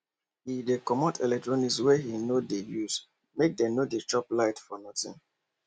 he dey comot electronics wey he no dey usemake dem no dey chop light for nothing